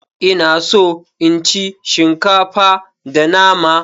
Ina so in ci shinkafa da nama.